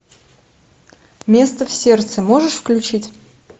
место в сердце можешь включить